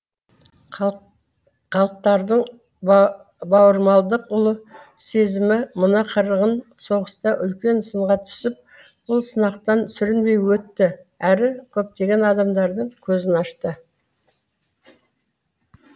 халықтардың бауырмалдық ұлы сезімі мына қырғын соғыста үлкен сынға түсіп бұл сынақтан сүрінбей өтті әрі көптеген адамдардың көзін ашты